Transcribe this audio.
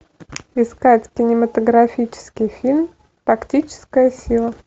искать кинематографический фильм тактическая сила